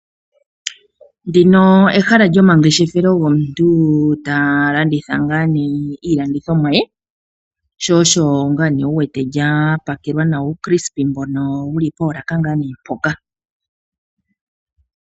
Ndino ehala lyomangeshefelo gomuntu ta landitha ngaa ne iilandithomwa ye shoosho ngaane wu wete lya pakelwa nawa uutyepisa mbono wu li poolaka ngaane mpoka.